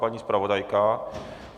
Paní zpravodajka?